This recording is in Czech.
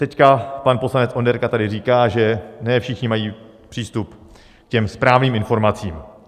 Teď pan poslanec Onderka tady říká, že ne všichni mají přístup k těm správným informacím.